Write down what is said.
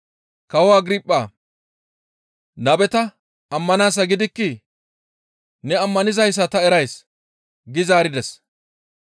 Kawo Agirphaa! Nabeta ammanaasa gidikkii? Ne ammanizayssa ta erays» gi zaarides.